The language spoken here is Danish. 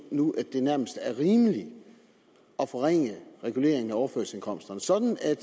nu at det nærmest er rimeligt at forringe reguleringen af overførselsindkomsterne sådan at